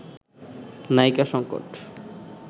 নায়িকা সংকট